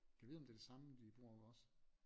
Gad vide om det er det samme de bruger også